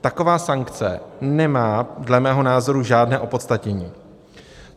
Taková sankce nemá dle mého názoru žádné opodstatnění.